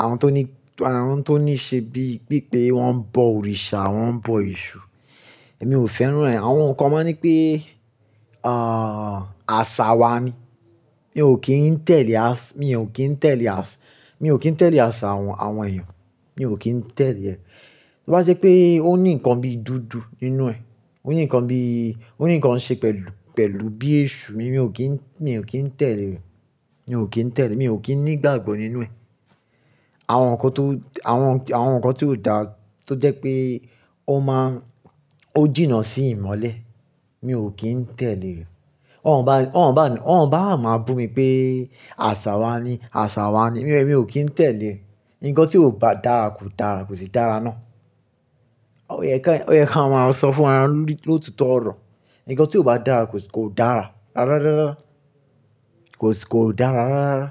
àwọn tó ní, àwọn tó ní ṣe bí, bí pé wọ́n ń bọ òrìṣà, wọ́n ń bọ Èṣù. Èmi ò fẹ́ràn rẹ̀. Àwọn nǹkan máa ní pé, àṣà wa ni. Mi ò kí n tẹ̀lé as, mi ò kí n tẹ̀lé as, mi ò kí n tẹ̀lé as àwọn, àwọn èèyàn, mi ò kín tẹ̀lé ẹ̀. Bí bá je pé ó ní nǹkan bí dúdú nínú ẹ̀, ó ní nǹkan bí, ó ní nǹkan ṣe pẹ̀lú, pẹ̀lú bí Èṣù, mi ò kín, mi ò kín tẹ̀lé rẹ̀. Mi ò kín tẹ̀lé, mi ò kín ní ìgbàgbọ́ nínú ẹ̀. Àwọn nǹkan tó, àwọn, àwọn nǹkan tí ó dáa tó jẹ́ pé ó máa, ó jìnnà sí ìmọ́lẹ̀, mi ò kín tẹ̀lé rẹ̀. Wọ́n bá, wọ́n bá máa bú mi pé àṣà wa ni, àṣà wa ni, mi ò kín tẹ̀lé. Ǹkan tí kò bá dára kò dára, kò sí dára náà. Ó yẹ kí a máa sọ fún ará wá lótitó ọ̀rọ̀. Ǹkan tí ò bá dára kò sì, kò dára. Rárá, rárá, kò sì, kò dára rárá, rárá.